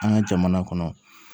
An ka jamana kɔnɔ